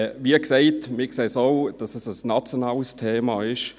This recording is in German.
Wie gesagt, wir sehen es auch so, dass es ein nationales Thema ist.